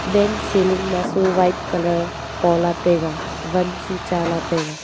bank ceiling ma su white colour pola taiga wan su chala taiga.